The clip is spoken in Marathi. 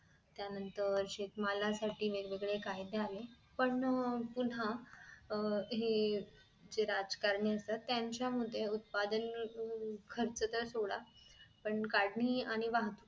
त्यानंतर शेतमालासाठी वेगवेगळे कायदे आले पण पुन्हा अह हे जे राजकारणी असतात त्यांच्या मुळे उत्पादन खर्च तर सोडा पण काढणी आणि वाहिनी~